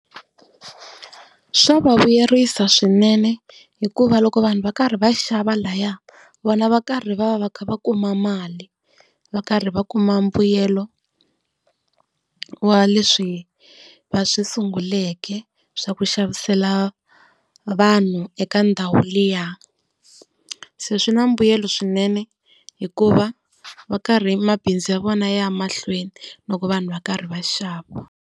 Swa va vuyerisa swinene, hikuva loko vanhu va karhi va xava laha vona va karhi va va va kha va kuma mali, va karhi va kuma mbuyelo wa leswi va swi sunguleke swa ku xavisela vanhu eka ndhawu liya. Se swi na mbuyelo swinene hikuva va karhi mabindzu ya vona ya ya mahlweni loko vanhu va karhi va xava.